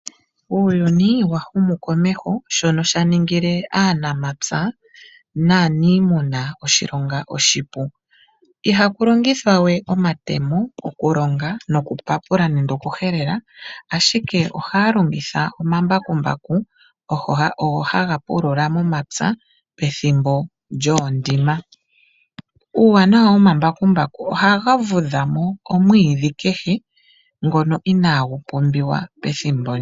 Uuyuni wa humu komeho shono sha ningile aanamapya naanimuna oshilonga oshipu. Iha ku longithwa we omatemo okulonga nokupapula nenge oku helela, ashike ohaa longitha omambakumbaku ogo haga pulula momapya pethimbo lyoondima. Uuwanawa womambakumbaku ohaga vudha mo omwiidhi kehe ngono ina gu pumbiwa pethimbo ndyo.